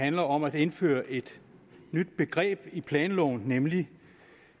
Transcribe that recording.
handler om at indføre et nyt begreb i planloven nemlig